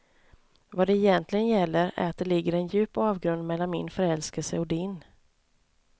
Vad det egentligen gäller är att det ligger en djup avgrund mellan min förälskelse och din.